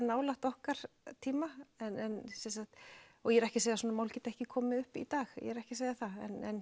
nálægt okkar tíma og ég er ekki að segja að svona mál geti ekki komið upp í dag ég er ekki að segja það